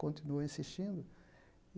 Continuou insistindo.